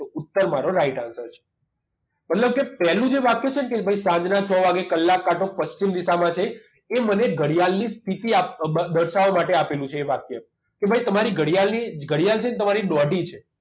ઉત્તર મારો right answer છે મતલબ કે પહેલું જે વાક્ય છે ને કે સાંજના છ વાગ્યે કલાક કાંટો પશ્ચિમ દિશામાં છે એ મને ઘડિયાળની સ્થિતિ આપ દર્શાવવા માટે આપેલું છે એ વાક્ય કે ભાઈ તમારી ઘડિયાળની ઘડિયાળ છે તમારી દોઢી છે